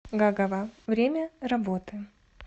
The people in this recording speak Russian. гагава время работы